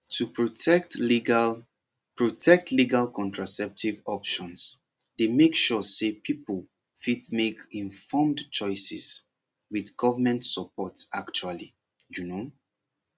to protect legal protect legal contraceptive options dey make sure say people fit make informed choices with government support actually you know